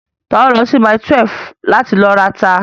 Ta ló lọ sí mile 12 láti lọ rata?